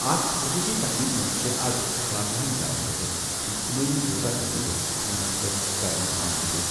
اَتھ خصوٗصی تقریبہِ منٛز چھِ آز واریٛاہَن جایَن پٮ۪ٹھ اجتماعی یوگا تقریبہٕ منعقد کرنہٕ آمٕتۍ۔